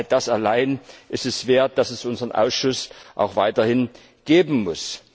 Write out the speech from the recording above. Das allein ist es wert, dass es unseren Ausschuss auch weiterhin geben muss.